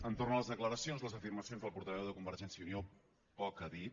entorn a les declaracions i les afirmacions del portaveu de convergència i unió poc a dir